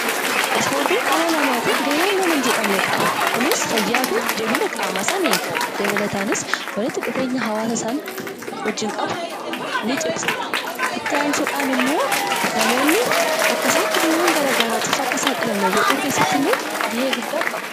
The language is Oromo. Ispoortiin dhala namaaf faayidaa hedduu qaba isaan keessaa muraasni fayyaa qaamaa, jabeenya qaamaa dabaluu fi walitti dhufeenya hawaasaa ni cimsa. Akkasumas namoonni dhibeef akka hin saaxilamne gargaaruun gahee guddaa qaba.